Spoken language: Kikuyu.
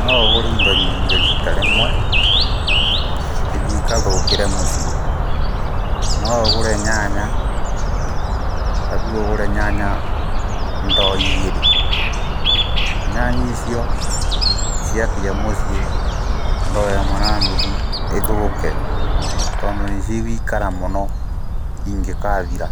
Noũgũre indo nyingĩ rita rĩmwe ithii ikathũkĩre mũciĩ, noũgũre nyanya ta rĩũ noũgũre nyanya ndoo igĩrĩ, nyanya icio ciakinya mũciĩ ndoo ĩmwe na nuthu ithũke tondũ nĩcigũikara mũno ingĩkathira,